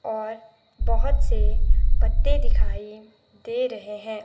और बहुत से पत्ते दिखाई दे रहे हैं।